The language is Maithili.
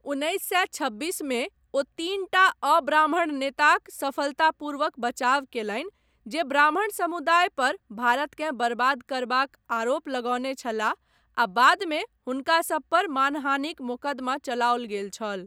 उन्नैस सए छब्बीसमे ओ तीनटा अब्राह्मण नेताक सफलतापूर्वक बचाव कयलनि जे ब्राह्मण समुदाय पर भारतकेँ बर्बाद करबाक आरोप लगौने छलाह आ बादमे हुनका सभपर मानहानिक मोकदमा चलाओल गेल छल।